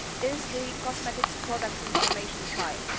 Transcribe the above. is the cosmetics products information file.